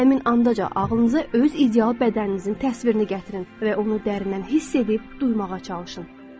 Həmin anda ağlınıza öz ideal bədəninizin təsvirini gətirin və onu dərindən hiss edib duymağa çalışın.